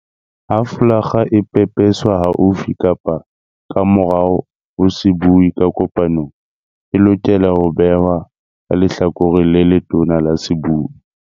Ha folakga e pepeswa haufi kapa ka morao ho sebui ka kopanong, e lokela ho behwa ka lehlakoreng le letona la sebui.